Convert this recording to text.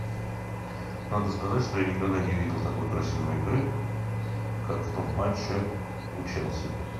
надо сказать что я никогда не видел такой красивой игры как в том матче у челси